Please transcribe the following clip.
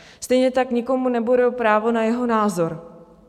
Stejně tak nikomu neberu právo na jeho názor.